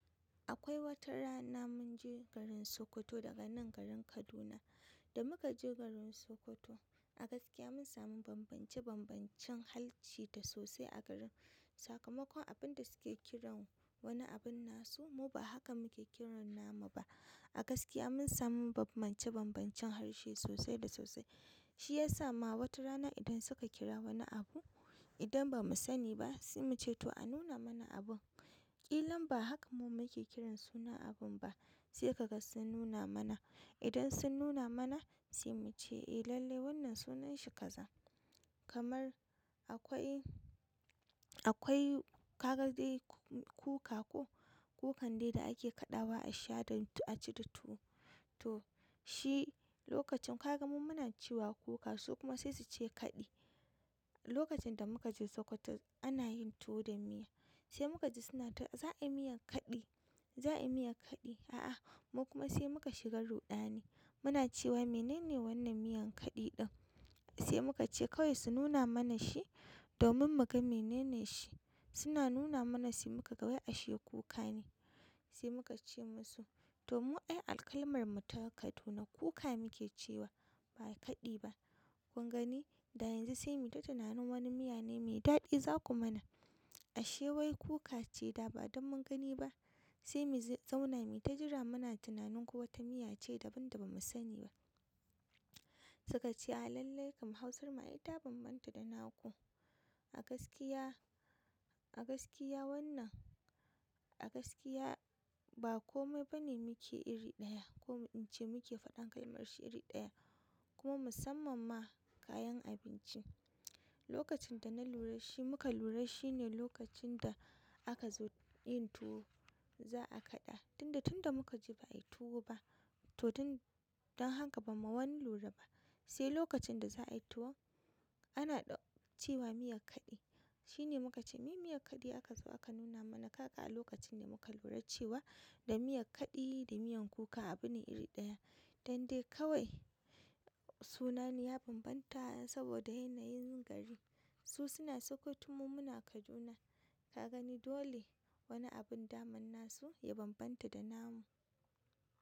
Akwai wata rana mun je garin Sokoto daga nan garin Kaduna. Da muka je garin Sokoto, a gaskiya mun samu bambance-bambancen halci da sosai a garin. Sakamakon abin da suke kiran wani abin nasu, mu ba haka muke kiran namu ba. A gaskiya mun samu bambance-bambancen harshe sosai da sosai. Shi ya sa ma wata rana idan suka kira wani abu, idan ba mu sani ba, sai mu ce to a nuna mana abun. Ƙilan ba haka mu muke kiran sunan abin ba sai kaga sun nuna mana. Idan sun nana mana sai muce eh lalle wannan sunan shi kaza kamar akwai, akwai ka ga dai kuka ko, kukan dai da ake kaɗawa a sha da a ci da tuwo. To shi lokacin ka ga mu muna cewa kuka su kuma sai su ce kaɗi. Lokacin da muka je Sokoto ana yin tuwo da miya. Sai muka ji suna ta za a yi miyan kaɗi, za a yi miyan kaɗi. A'a mu kuma sai muka shiga ruɗani. Muna cewa menene wannan miyan kaɗi ɗin. Sai muka ce kawai su nuna mana shi domin mu ga menene shi. Suna nuna mana sai muka ga wai ashe kuka ne. Sai muka ce musu to mu ai akalmar mu ta Kaduna kuka muke cewa ba kaɗi ba. Kun gani? Da yanzu sai mu ji tunanin wani miya ne mai daɗi za ku mana. Ashe wai kuka ce da ba don mun gani ba. Sai mu zauna mu yi ta jira muna tunanin kuwa wata miya ce daban da ba mu sani ba. Suka ce a lallai kam Hausar mu ia ta bambanta da naku. A gaskiya, a gaskiya wannan, a gaskiya ba kome ba ne muke iri ɗaya ko in ce muke faɗan kalmar shi iri ɗaya. Kuma musamman ma kayan abinci. Lokacin da na lura shi muka lura shi ne lokacin da aka zo yin tuwo za a kaɗa. Tunda tunda muka je ba a yi tuwo ba to don, don haka ba mu wani lura ba. Sai lokacin da za a yi tuwon ana cewa miyan kaɗi. Shi ne muka ce me miyan kaɗi aka zo aka nuna mana. Kaga a lokacin ne muka lura cewa da miyan kaɗi da miyan kuka abu ne iri ɗaya. Dande kawai sunan ya bambanta saboda yanayin gari. Su suna Sokoto mu muna Kaduna. Ka gani dole wani abin daman nasu ya bambanta da namu.